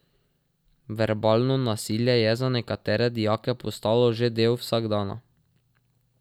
Verbalno nasilje je za nekatere dijake postalo že del vsakdana.